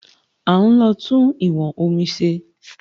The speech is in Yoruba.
À ń lọ tún ìwọn omi ṣe